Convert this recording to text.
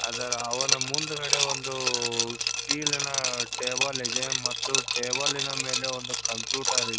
ಅದರ ಅವನ ಮುಂದುಗಡೆ ಒಂದು ಸ್ಟೀಲಿ ನ ಟೇಬಲ್ ಇದೆ ಮತ್ತು ಟೇಬಲ್ನ ಮೇಲೆ ಒಂದು ಕಂಪ್ಯೂಟರ್ ಇದೆ.